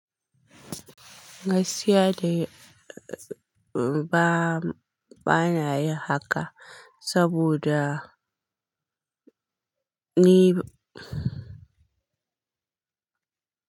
Gaskiya dai ba, ba na yi haka saboda ni ba.